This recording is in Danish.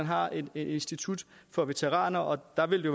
har et institut for veteraner og der vil det